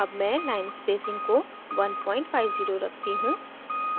अब मैं line spacing को 150 रखती हूँ